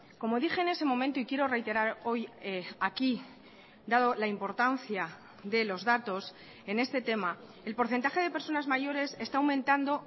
como dije en ese momento y quiero reiterar hoy aquí dado la importancia de los datos en este tema el porcentaje de personas mayores está aumentando